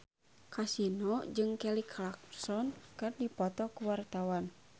Kasino jeung Kelly Clarkson keur dipoto ku wartawan